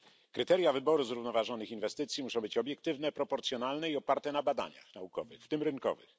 Kryteria wyboru zrównoważonych inwestycji muszą być obiektywne, proporcjonalne i oparte na badaniach naukowych, w tym rynkowych.